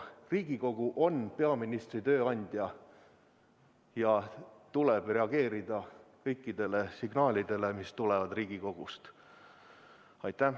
Riigikogu on peaministri tööandja ja tal tuleb reageerida kõikidele signaalidele, mis tulevad Riigikogust.